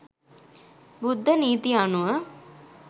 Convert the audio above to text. බුද්ධ නීති අනුව